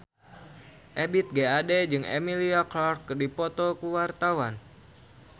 Ebith G. Ade jeung Emilia Clarke keur dipoto ku wartawan